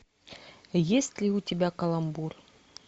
есть ли у тебя каламбур